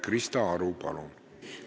Krista Aru, palun!